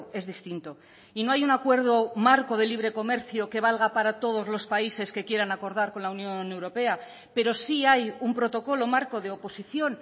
es distinto y no hay un acuerdo marco de libre comercio que valga para todos los países que quieran acordar con la unión europea pero sí hay un protocolo marco de oposición